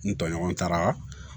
N tɔɲɔgɔn taara